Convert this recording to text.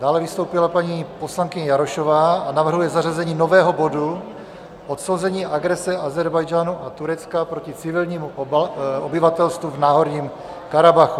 Dále vystoupila paní poslankyně Jarošová a navrhuje zařazení nového bodu - odsouzení agrese Ázerbájdžánu a Turecka proti civilnímu obyvatelstvu v Náhorním Karabachu.